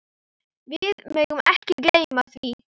Við megum ekki gleyma því.